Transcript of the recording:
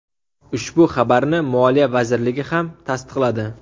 Ushbu xabarni Moliya vazirligi ham tasdiqladi .